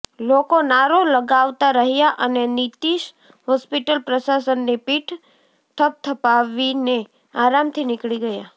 લોકો નારો લગાવતા રહ્યા અને નીતીશ હોસ્પિટલ પ્રશાસનની પીઠ થપથપાવીને આરામથી નીકળી ગયા